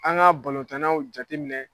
An ka balontannaw jateminɛ